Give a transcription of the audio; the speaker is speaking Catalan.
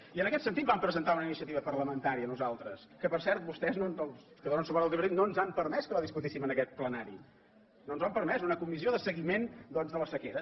i en aquest sentit vam presentar una iniciativa parlamentària nosaltres que per cert vostès els que donen suport al tripartit no ens han permès que la discutíssim en aquest plenari no ens ho han permès d’una comissió de seguiment doncs de la sequera